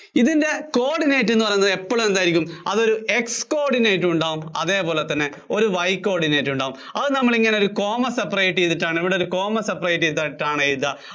ഇതിന്‍റെ coordinate എന്നു പറയുന്നത് എപ്പോഴും എന്തായിരിക്കും അതൊരു X-coordinate ഉണ്ടാവും അതുപോലെതന്നെ ഒരു Y-coordinate ഉണ്ടാവും അത് നമ്മൾ ഇങ്ങനെ ഒരു coma separate ചെയ്തിട്ടാണ് ഇവിടെ coma separate ചെയ്തിട്ടാണ് എഴുതുക